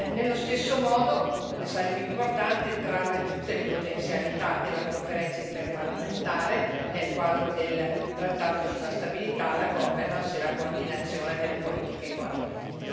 Nello stesso modo sarebbe importante sfruttare tutte le potenzialità della Conferenza interparlamentare nel quadro del trattato sulla stabilità, la governance e il coordinamento delle politiche economiche.